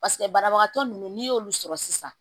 Paseke banabagatɔ ninnu n'i y'olu sɔrɔ sisan